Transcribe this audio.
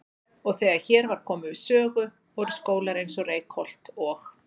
Og þegar hér var komið sögu voru skólar eins og Reykholt og